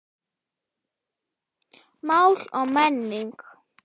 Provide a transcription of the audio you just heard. Mál og menning